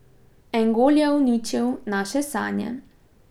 En gol je uničil naše sanje.